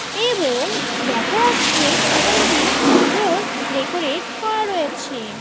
এবং দেখা যাচ্ছে দোকানটি সুন্দর ডেকোরেট করা রয়েছে।